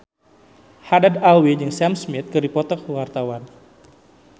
Haddad Alwi jeung Sam Smith keur dipoto ku wartawan